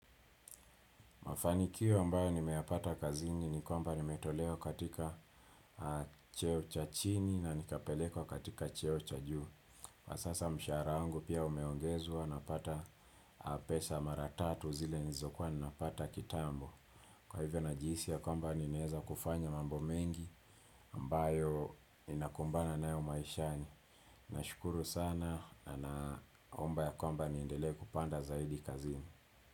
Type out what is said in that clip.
Mafanikio ambayo nimeyapata kazini ni kwamba nimetolewa katika cheo cha chini na nikapelekwa katika cheo cha juu. Na sasa mshahara wangu pia umeongezwa napata pesa maratatu zile nilizokuwa ninapata kitambo. Kwa hivyo najihisi ya kwamba nimeweza kufanya mambo mengi ambayo ninakumbana nayo maishani. Nashukuru sana na naomba ya kwamba nindelee kupanda zaidi kazi ni.